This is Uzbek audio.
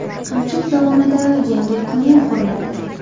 Qamchiq dovonida yangi tunnel quriladi.